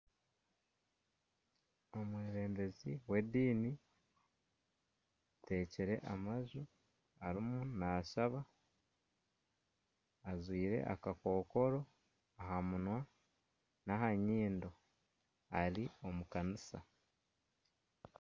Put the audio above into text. omwebembezi w'ediini ateekire amaju ariyo naashaba ajwire akakookora aha munwa n'aha nyindo ari omu kanisa